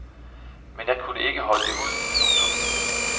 Men jeg kunne ikke holde det ud. punktum